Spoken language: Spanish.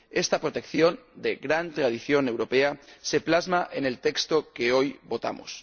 Esta protección, de gran tradición europea, se plasma en el texto que hoy votamos.